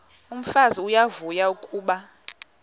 umfazi uyavuya kuba